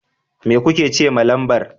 Me kuka ce lambar?